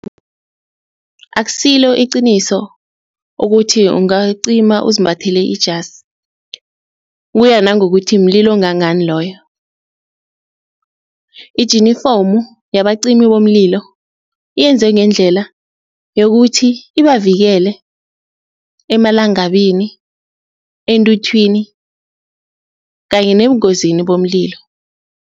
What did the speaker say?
Akusilo iqiniso ukuthi ungacima uzimbathele ijasi, kuya nangokuthi mlilo ongangani loyo, ijinifomu yabacimi bomlilo yenzwe ngendlela yokuthi ibavikele emalangabini, eenthuthwini kanye nebungozini bomlilo.